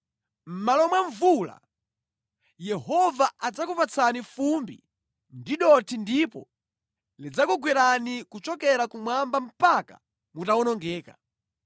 Mʼmalo mwa mvula Yehova adzakupatsani fumbi ndi dothi ndipo lidzakugwerani kuchokera kumwamba mpaka mutawonongeka.